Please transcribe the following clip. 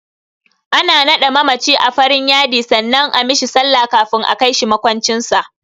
Ana naɗe mamaci a farin yadi sannan a mishi sallah kafin a kai shi maƙwancin sa.